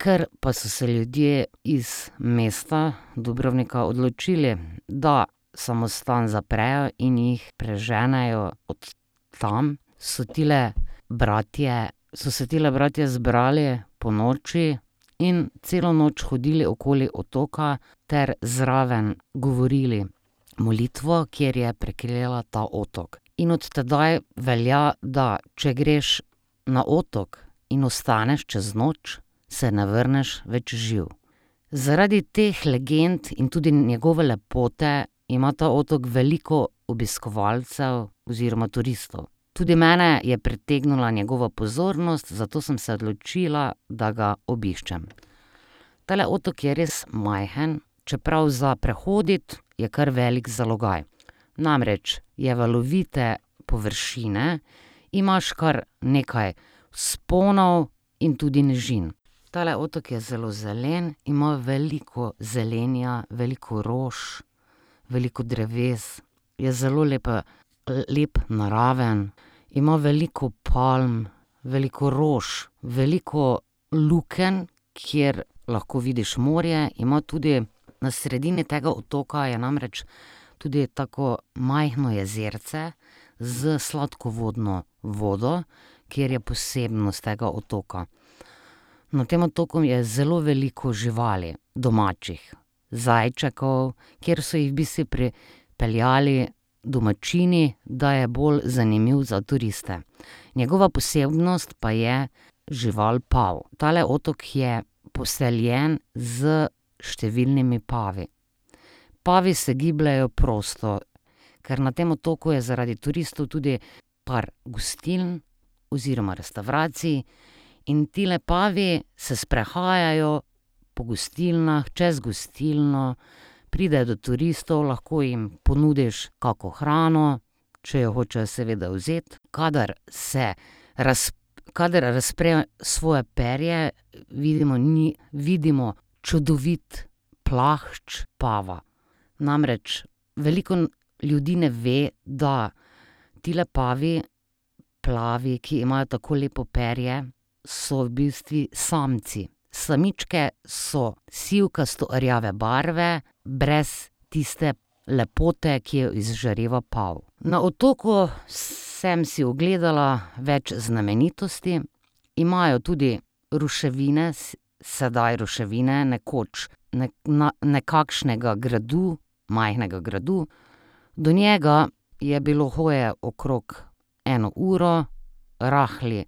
Ker pa so se ljudje iz mesta Dubrovnika odločili, da samostan zaprejo in jih preženejo od tam, so tile bratje, so se tile bratje zbrali ponoči in celo noč hodili okoli otoka ter zraven govorili molitev, kjer je preklela ta otok. In od tedaj velja, da če greš na otok in ostaneš čez noč, se ne vrneš več živ. Zaradi teh legend in tudi njegove lepote ima ta otok veliko obiskovalcev oziroma turistov. Tudi mene je pritegnila njegova pozornost, zato sem se odločila, da ga obiščem. Tale otok je res majhen, čeprav za prehoditi je kar velik zalogaj. Namreč, je valovite površine, imaš kar nekaj vzponov in tudi nižin. Tale otok je zelo zelen, ima veliko zelenja, veliko rož, veliko dreves. Je zelo lep, naraven, ima veliko palm, veliko rož, veliko lukenj, kjer lahko vidiš morje. Ima tudi, na sredini tega otoka je namreč tudi tako majhno jezerce s sladkvodno vodo, ker je posebnost tega otoka. Na tem otoku je zelo veliko živali, domačih. Zajčkov, ker so jih v bistvu pripeljali domačini, da je bolj zanimiv za turiste. Njegova posebnost pa je žival pav. Tale otok je poseljen s številnimi pavi. Pavi se gibljejo prosto, ker na tem otoku je zaradi turistov tudi par gostiln oziroma restavracij. In tile pavi se sprehajajo po gostilnah, čez gostilno, pridejo do turistov, lahko jim ponudiš kako hrano, če jo hočejo seveda vzeti. Kadar se, kadar razprejo svoje perje, vidimo vidimo čudovit plašč pava. Namreč, veliko ljudi ne ve, da tile pavi plavi, ki imajo tako lepo perje, so v bistvu samci. Samičke so sivkasto rjave barve brez tiste lepote, ki jo izžreva pav. Na otoku sem si ogledala več znamenitosti. Imajo tudi ruševine, zdaj ruševine, nekoč nekakšnega gradu, majhnega gradu. Do njega je bilo hoje okrog eno uro. Rahel